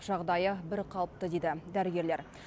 жағдайы бірқалыпты дейді дәрігерлер